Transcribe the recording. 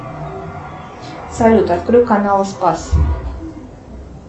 салют открой канал спас